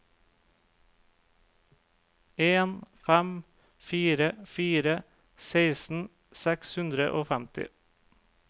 en fem fire fire seksten seks hundre og femti